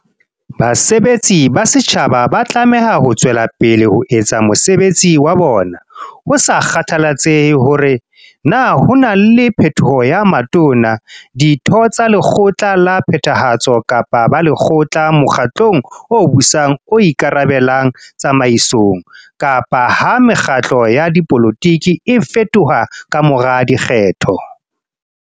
Basebetsi ba setjhaba ba tlameha ho tswe lapele ho etsa mosebetsi wa bona "ho sa kgathalatsehe hore na ho na le phetholo ya Matona, Ditho tsa Lekgotla la Phethahatso kapa Balekgotla mokgatlong o busang o ika rabellang tsamaisong, kapa ha mekgatlo ya dipolotiki e fetoha ka mora dikgetho".